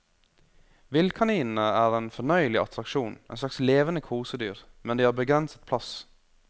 Villkaninene er en fornøyelig attraksjon, en slags levende kosedyr, men de har begrenset plass.